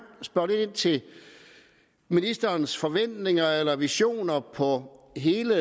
spørge lidt ind til ministerens forventninger eller visioner på hele